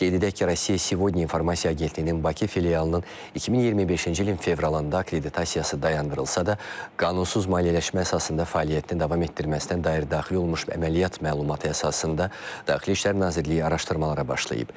Qeyd edək ki, Rusiya segodnyaya informasiya agentliyinin Bakı filialının 2025-ci ilin fevralında akkreditasiyası dayandırılsa da, qanunsuz maliyyələşmə əsasında fəaliyyətini davam etdirməsinə dair daxil olmuş əməliyyat məlumatı əsasında Daxili İşlər Nazirliyi araşdırmalara başlayıb.